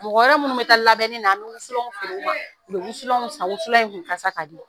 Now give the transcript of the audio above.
Mɔgɔ wɛrɛ minnu bɛ taa labɛnni na an bɛ wusulanw feere u ma u bɛ wusulanw san wusulan in kun kasa ka di.